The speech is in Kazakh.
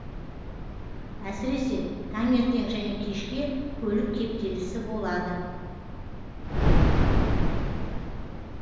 әсіресе таңертең және кешке көлік кептелісі болады